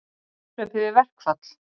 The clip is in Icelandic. Í kapphlaupi við verkfall